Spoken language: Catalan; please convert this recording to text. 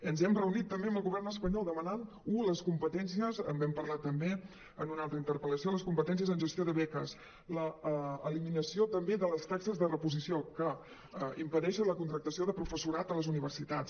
ens hem reunit també amb el govern espanyol demanant u les competències en vam parlar també en una altra interpel·lació en gestió de beques l’eliminació també de les taxes de reposició que impedeixen la contractació de professorat a les universitats